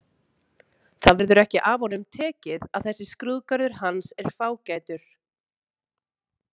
Það verður ekki af honum tekið að þessi skrúðgarður hans er fágætur.